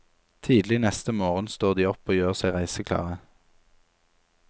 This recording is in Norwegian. Tidlig neste morgen står de opp og gjør seg reiseklare.